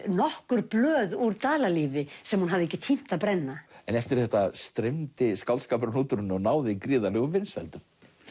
nokkur blöð úr Dalalífi sem hún hafði ekki tímt að brenna en eftir þetta streymdi skáldskapurinn út úr henni og náði gríðarlegum vinsældum